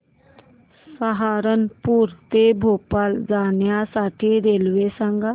सहारनपुर ते भोपाळ जाण्यासाठी रेल्वे सांग